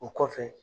O kɔfɛ